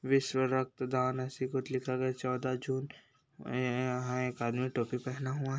विश्व रक्त दान ऐसी कुछ लिखा गया है चौदह जून ये यहाँ हैं एक आदमी टोपी पहना हुआ।